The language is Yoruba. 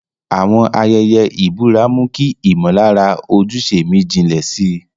Àwọn ayẹyẹ ìbúra mú kí ìmọ̀lára ojúṣe mi jinlẹ̀ sí i